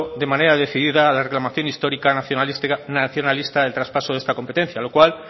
de manera decidida a la reclamación histórica nacionalista del traspaso de esta competencia lo cual